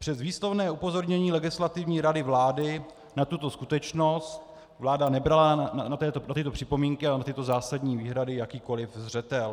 Přes výslovné upozornění Legislativní rady vlády na tuto skutečnost vláda nebrala na tyto připomínky a na tyto zásadní výhrady jakýkoliv zřetel.